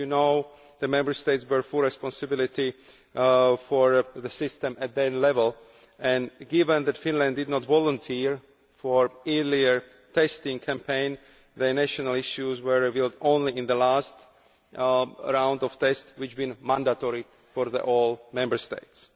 As you know, the Member States bear full responsibility for the system at their level, and given that Finland did not volunteer for an earlier testing campaign, the national issues there were revealed only in the last round of tests, which were mandatory for all Member States.